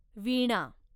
वीणा